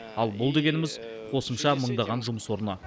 ал бұл дегеніміз қосымша мыңдаған жұмыс орны